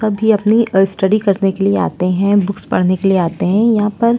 सभी अपने स्टडी करने के लिए आते हैं। बुक्स पढ़ने के लिए आते हैं यहाँ पर।